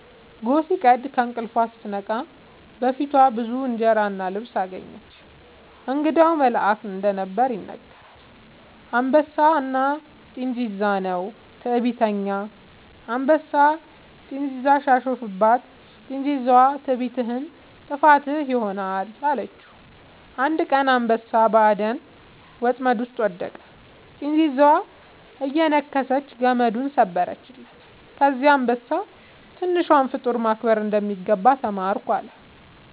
ጎህ ሲቀድ ከእንቅልፏ ስትነቃ በፊቷ ብዙ እንጀራ እና ልብስ አገኘች። እንግዳው መልአክ እንደነበር ይነገራል። «አንበሳና ጥንዚዛ» ነው። ትዕቢተኛ አንበሳ ጥንዚዛን ሲያሾፍባት፣ ጥንዚዛዋ «ትዕቢትህ ጥፋትህ ይሆናል» አለችው። አንድ ቀን አንበሳ በአደን ወጥመድ ውስጥ ወደቀ፤ ጥንዚዛዋ እየነከሰች ገመዱን ሰበረችለት። ከዚያ አንበሳ «ትንሿን ፍጡር ማክበር እንደሚገባ ተማርኩ» አለ